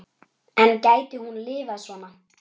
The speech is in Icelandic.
En gæti hún lifað svona?